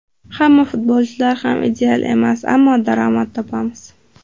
Hamma futbolchilar ham ideal emas, ammo daromad topamiz.